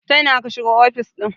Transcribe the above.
ta ina ka shigo ofis ɗin?